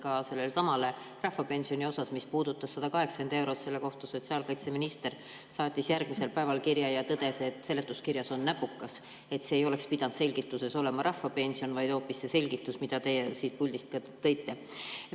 Ka sellesama rahvapensioni kohta, mis puudutas 180 eurot, saatis sotsiaalkaitseminister järgmisel päeval kirja ja tõdes, et seletuskirjas on näpukas, et selgituses ei oleks pidanud olema juttu rahvapensionist, vaid oleks pidanud olema hoopis see selgitus, mille teie siit puldist tõite.